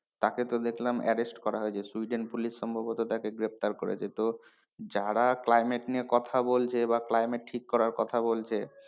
তাকে তো দেখলাম arrest করা হয়েছে Sweden police সম্ভবত তাকে গ্রেপ্তার করেছে তো যারা climate নিয়ে কথা বলছে বা climate ঠিক করা কথা বলছে,